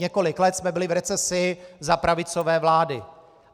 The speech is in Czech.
Několik let jsme byli v recesi za pravicové vlády.